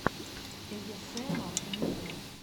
эйэсэмар муд